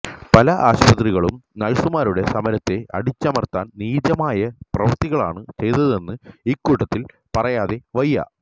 പല ആശുപത്രികളും നഴ്സുമാരുടെ സമരത്തെ അടിച്ചമര്ത്താന് നീചമായ പ്രവൃത്തികളാണ് ചെയ്തതെന്ന് ഇക്കൂട്ടത്തില് പറയാതെ വയ്യ